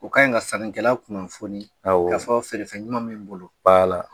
U ka ɲi ka sankɛlaw kun kunnafoni, awɔ, k'a fɔ feere fɛn ɲuman min bolo